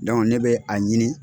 ne bɛ a ɲini